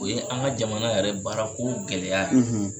O ye an ka jamana yɛrɛ baarako gɛlɛya ye